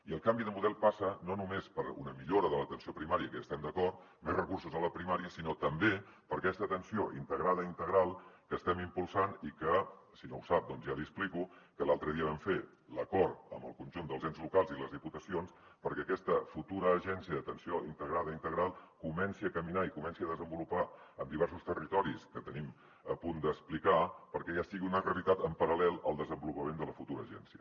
i el canvi de model passa no només per una millora de l’atenció primària que hi estem d’acord més recursos a la primària sinó també per aquesta atenció integrada i integral que estem impulsant i que si no ho sap doncs ja l’hi explico l’altre dia vam fer l’acord amb el conjunt dels ens locals i les diputacions perquè aquesta futura agència d’atenció integrada i integral comenci a caminar i es comenci a desenvolupar en diversos territoris que tenim a punt d’explicar perquè ja sigui una realitat en paral·lel al desenvolupament de la futura agència